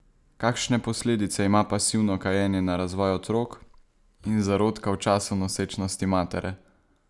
Kakšne posledice ima pasivno kajenje na razvoj otrok in zarodka v času nosečnosti matere?